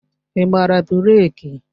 Ị gbara breeki?